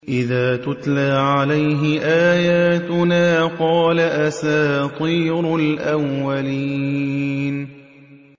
إِذَا تُتْلَىٰ عَلَيْهِ آيَاتُنَا قَالَ أَسَاطِيرُ الْأَوَّلِينَ